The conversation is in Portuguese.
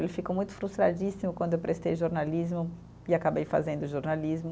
Ele ficou muito frustradíssimo quando eu prestei jornalismo e acabei fazendo jornalismo.